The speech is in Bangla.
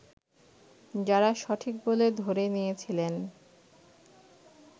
যারা সঠিক বলে ধরে নিয়েছিলেন